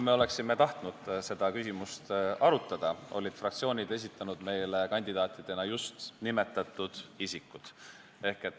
Me ei arutanud seda küsimust, sest fraktsioonid olid meile kandidaatidena esitanud just nimetatud isikud.